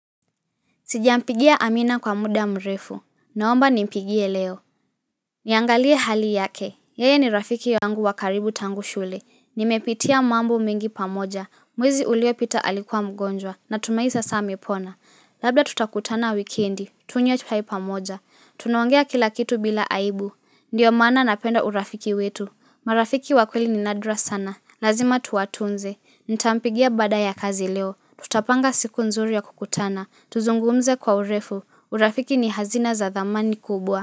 Sijampigia amina kwa muda mrefu, naomba nimpigie leo Niangalie hali yake, yeye ni rafiki yangu wa karibu tangu shule Nimepitia mambo mengi pamoja, mwezi uliopita alikuwa mgonjwa natumai sasa amepona Labda tutakutana wikendi, tunywe tukae pamoja, tunaongea kila kitu bila aibu Ndiyo maana napenda urafiki wetu, marafiki wakweli ninadra sana, lazima tuwatunze Nitampigia baada ya kazi leo Tutapanga siku nzuri ya kukutana Tuzungumze kwa urefu urafiki ni hazina za thamani kubwa.